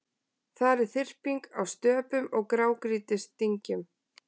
Þar er þyrping af stöpum og grágrýtisdyngjum.